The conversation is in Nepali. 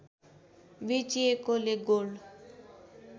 बेचिएकोले गोल्ड